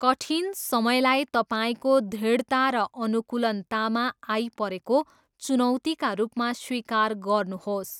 कठिन समयलाई तपाईँको दृढता र अनुकूलनतामा आइपरेको चुनौतीका रूपमा स्वीकार गर्नुहोस्।